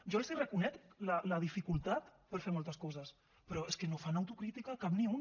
jo els reconec la dificultat per fer moltes coses però és que no fan autocrítica cap ni una